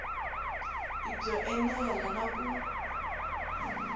i byo enela na ku